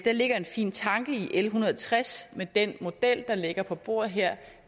ligger en fin tanke i l en hundrede og tres men den model der ligger på bordet her